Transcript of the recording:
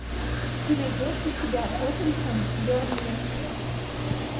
ты найдешь у себя тоттенхэм бернли